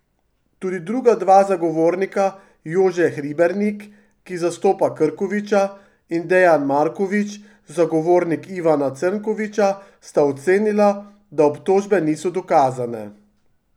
Tudi druga dva zagovornika, Jože Hribernik, ki zastopa Krkoviča, in Dejan Marković, zagovornik Ivana Črnkoviča, sta ocenila, da obtožbe niso dokazane.